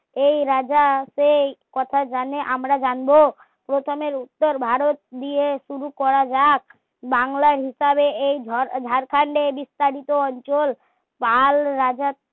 এই রাজা সেই কথা জানে আমরা জানবো প্রথমে উত্তর ভারত দিয়ে শুরু করা যাক বাংলা হিসাবে এই ঝাড়খণ্ডের বিস্তারিত অঞ্চল কাল রাজা